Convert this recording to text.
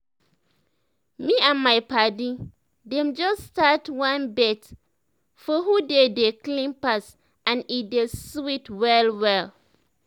me and my padi dem just start one bet for who dey dey clean pass and e dey sweet well well